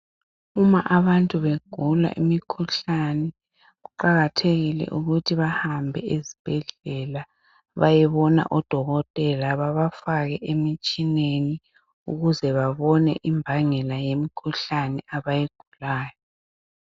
Uma abantu begula imikhuhlane, kuqakathekile ukuthi bahambe esibhedlela, bayebona odokotela bebafake emitshineni, ukuze bebone imbangela yemikhuhlane abayigulayo.